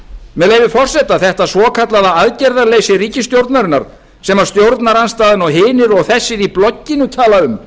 með leyfi forseta þetta svokallaða aðgerðaleysi ríkisstjórnarinnar sem stjórnarandstaðan og hinir og þessir í blogginu tala um